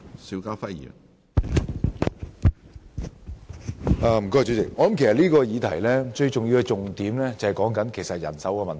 主席，其實這項議題最重要的一點就是人手問題。